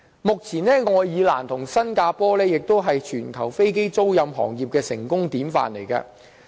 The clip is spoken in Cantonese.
目前，愛爾蘭和新加坡同為全球飛機租賃行業的成功典範。